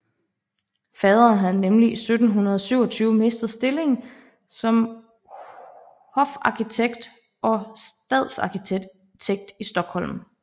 Faderen havde nemlig i 1727 mistet stillingen som hofarkitekt og stadsarkitekt i Stockholm